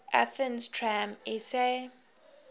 athens tram sa